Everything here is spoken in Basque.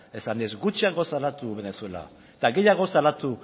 esanez gutxiago salatu venezuela eta gehiago salatu